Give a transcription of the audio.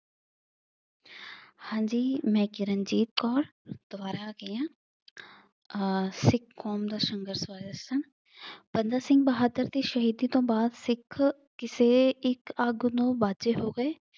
ਹਾਂਜੀ, ਮੈਂ ਕਿਰਨਜੀਤ ਕੌਰ ਦੁਬਾਰਾ ਆ ਗਈ ਆ ਆਹ ਸਿੱਖ ਕੌਮ ਦਾ ਸੰਘਰਸ਼ ਬਾਰੇ ਦੱਸਾਂ। ਬੰਦਾ ਸਿੰਘ ਬਹਾਦਰ ਦੀ ਸ਼ਹੀਦੀ ਤੋਂ ਬਾਅਦ ਸਿੱਖ ਕਿਸੇ ਇੱਕ ਆਗੂ ਨੂੰ ਬਾਝੇ ਹੋ ਗਏ।